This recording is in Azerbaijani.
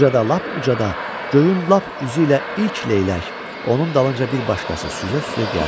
Ucadan lap ucadan, göyün lap üzüylə ilk leylək, onun dalınca bir başqası süzə-süzə gəldi.